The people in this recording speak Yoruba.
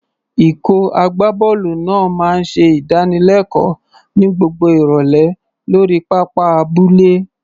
Ikọ̀ agbábọ́ọ̀lù náà máa ń ṣe ìdánilẹ́kọ̀ọ́ ní gbogbo ìrọ̀lẹ́ lórí pápá abúlé.